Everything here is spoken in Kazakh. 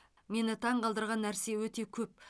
мені таңғалдырған нәрсе өте көп